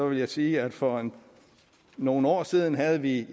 vil jeg sige at for nogle år siden havde vi